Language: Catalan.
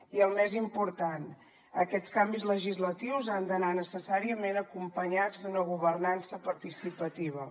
i el més important aquests canvis legislatius han d’anar necessàriament acompanyats d’una governança participativa